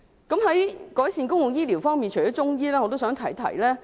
在改善公共醫療方面，除中醫外，我也想提提另一點。